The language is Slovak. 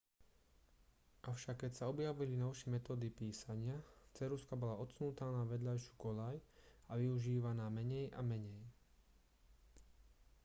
avšak keď sa objavili novšie metódy písania ceruzka bola odsunutá na vedľajšiu koľaj a využívaná menej a menej